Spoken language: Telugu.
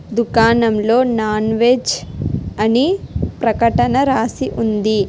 దుకాణంలో నాన్ వెజ్ అని ప్రకటన రాసి ఉంది.